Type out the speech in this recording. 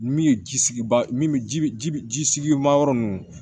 Min ye ji sigi ba min ji ji bi ji sigi mayɔrɔ nunnu